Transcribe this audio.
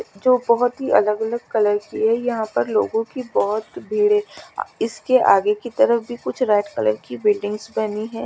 जो बहुत ही अलग अलग कलर की है यहाँ पर लोगों की बहुत भीड़ है इसके आगे की तरफ भी कुछ रेड कलर की बिल्डिंग्स बनी हैं।